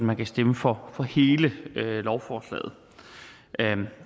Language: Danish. man kan stemme for hele lovforslaget